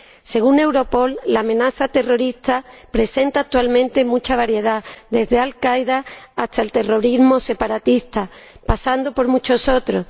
Según Europol, la amenaza terrorista presenta actualmente mucha variedad, desde Al Qaeda hasta el terrorismo separatista, pasando por muchos otros.